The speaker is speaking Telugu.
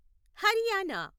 హర్యానా